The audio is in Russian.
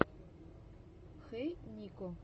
хэй нико